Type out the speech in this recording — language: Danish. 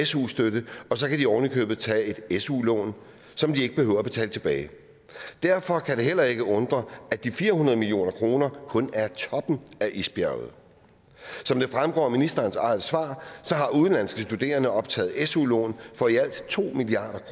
su støtte og så kan de ovenikøbet tage et su lån som de ikke behøver at betale tilbage derfor kan det heller ikke undre at de fire hundrede million kroner kun er toppen af isbjerget som det fremgår af ministerens eget svar har udenlandske studerende optaget su lån for i alt to milliard